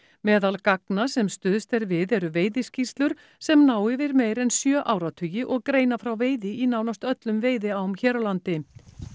meðal gagna sem stuðst er við eru veiðiskýrslur sem ná yfir meir en sjö áratugi og greina frá veiði í nánast öllum veiðiám hér á landi